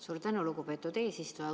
Suur tänu, lugupeetud eesistuja!